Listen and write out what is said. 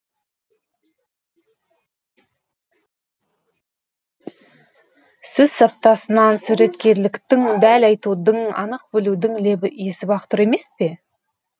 сөз саптасынан суреткерліктің дәл айтудың анық білудің лебі есіп ақ тұр емес пе